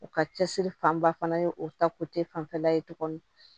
U ka cɛsiri fanba fana ye o ta fanfɛla ye tuguni